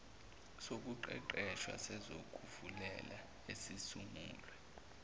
sokuqeqesha sezokuvikela esisungulwe